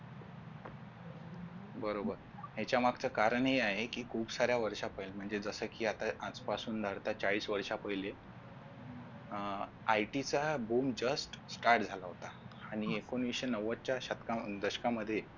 बरोबर याच्या मागच्या कारण हि आहे कि खूप साऱ्या वर्ष्या पहिले म्हणजे जस कि आता आज पासून जस का चाळीस वर्ष्या पहिले अं IT चा आह BOOM JUST START झाला होता एकोणाविसे नव्वद शतका दशका मध्ये